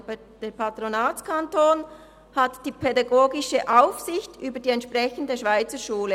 Der Patronatskanton hat die pädagogische Aufsicht über die entsprechende Schweizerschule.